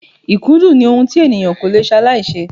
Ikudun ni ohun tí ènìyàn ko lè salaise.